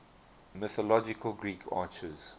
mythological greek archers